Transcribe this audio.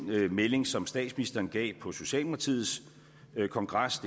melding som statsministeren gav på socialdemokratiets kongres